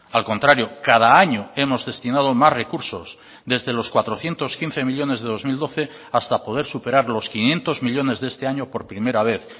al contrario cada año hemos destinado más recursos desde los cuatrocientos quince millónes de dos mil doce hasta poder superar los quinientos millónes de este año por primera vez